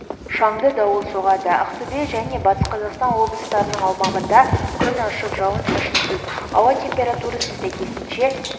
шаңды дауыл соғады ақтөбе және батыс қазақстан облыстарының аумағында күн ашық жауын-шашынсыз ауа температурасы сәйкесінше